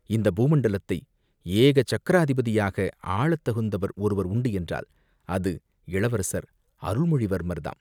இந்தப் பூமண்டலத்தை ஏக சக்ராதிபதியாக ஆளத்தகுந்தவர் ஒருவர் உண்டு என்றால் அவர் இளவரசர் அருள்மொழிவர்மர் தாம்.